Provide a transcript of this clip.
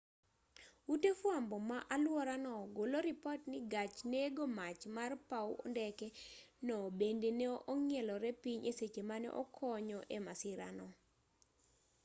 ute fwambo ma alwora no golo ripot ni gach nego mach mar paw ndeke no bende ne ong'ielore piny e seche mane okonyo e masira no